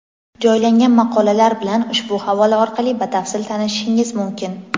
Joylangan maqolalar bilan ushbu havola orqali batafsil tanishishingiz mumkin.